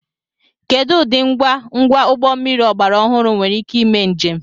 Kedu ụdị ngwa ngwa ụgbọ mmiri ọgbara ọhụrụ nwere ike ime njem